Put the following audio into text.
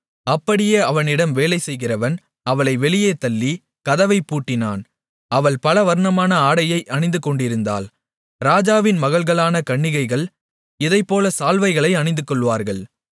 அப்படியே அவனிடம் வேலைசெய்கிறவன் அவளை வெளியேத் தள்ளி கதவைப் பூட்டினான் அவள் பலவர்ணமான ஆடையை அணிந்துகொண்டிருந்தாள் ராஜாவின் மகள்களான கன்னிகைகள் இதைப்போல சால்வைகளை அணிந்துகொள்வார்கள்